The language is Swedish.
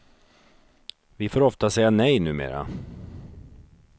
Vi får ofta säga nej numera.